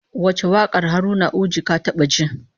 Wace wakar Haruna Uji ka taba ji?